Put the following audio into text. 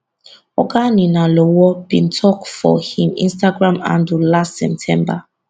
oga ninalowo bin tok for im instagram handle last september